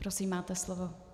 Prosím, máte slovo.